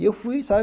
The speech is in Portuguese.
E eu fui, sabe?